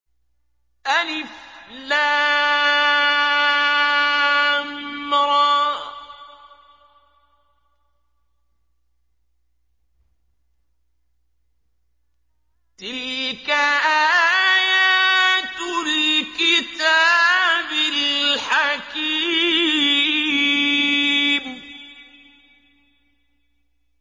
الر ۚ تِلْكَ آيَاتُ الْكِتَابِ الْحَكِيمِ